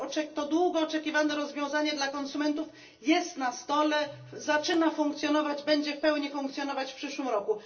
To długo oczekiwane rozwiązanie dla konsumentów jest na stole, zaczyna funkcjonować, będzie w pełni funkcjonować w przyszłym roku.